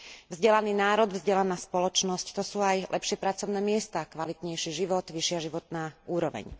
Vzdelaný národ, vzdelaná spoločnosť to sú aj lepšie pracovné miesta, kvalitnejší život, vyššia životná úroveň.